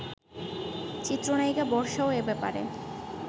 চিত্রনায়িকা বর্ষাও এ ব্যাপারে